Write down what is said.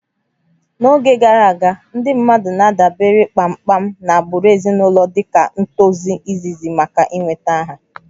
N'oge gara aga, ndị mmadụ na-adabere kpamkpam na agbụrụ ezinụlọ dịka ntozu izizi maka ị nweta aha